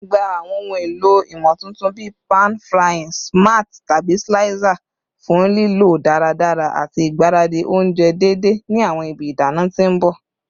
Gba awọn ohun elo imotuntun bii pan frying smart tabi slicer fun lilo daradara ati igbaradi ounjẹ deede ni awọn ibi idana ti n bọ